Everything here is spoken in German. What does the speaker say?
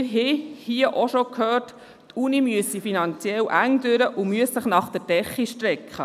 Wir haben hier auch schon gehört, die Universität müsse finanziell schmal durch und müsse sich nach der Decke strecken.